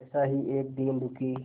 ऐसा ही एक दीन दुखी